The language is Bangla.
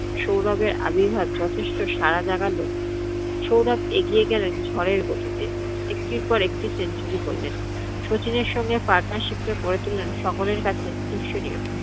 সৌরভের আবির্ভাব যথেষ্ট সারা জাগালো। সৌরভ এগিয়ে গেলেন ঝরের গতিতে, একটির পর একটি century করলেন। শচীনের সঙ্গে partnership এ গড়ে তুললেন সকলের কাছে ।